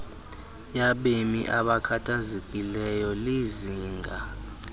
yabemi abakhathazekileyo lizinga